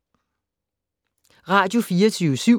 Radio24syv